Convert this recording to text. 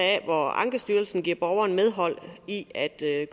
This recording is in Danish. hvor ankestyrelsen giver borgeren medhold i at